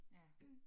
Ja